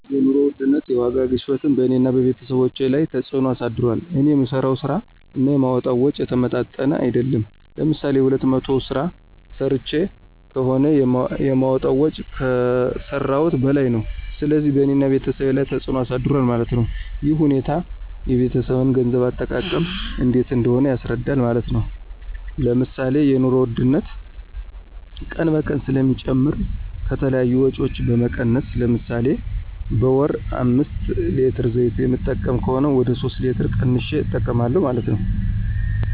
የኑሮ ውድነት (የዋጋ ግሽበትን በእኔና በቤተሰቦቸ ላይ ተፅዕኖ አሳድሯል። እኔ የምሠራው ስራ እና የማወጣዉ ወጭ የተመጣጠነ አይደለም። ለምሳሌ የሁለት መቶ ስራ ሰርቸ ከሆነ የማወጣው ወጭ ከሰረውት በላይ ነው። ስለዚህ በእኔና በቤተሰብ ላይ ተፅዕኖ አሳድሯል ማለት ነው። ይህ ሁኔታ የቤተሰብን የገንዘብ አጠቃቀም እንዴት እንደሆነ ያስረዳል ማለት ነው። ለምሳሌ የኑሮ ውድነት ቀን በቀን ስለሚጨምር ከተለያዩ ወጭዎች በመቀነስ ለምሳሌ በወር አምስት ሌትር ዘይት የምጠቀም ከሆነ ወደ ሶስት ሌትር ቀንሸ እጠቀማለሁ።